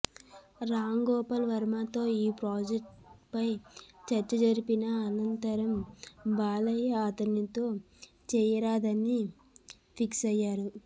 రాంగోపాల్వర్మతో ఈ ప్రాజెక్టుపై చర్చ జరిపిన అనంతరం బాలయ్య అతనితో చేయరాదని ఫిక్సయ్యారు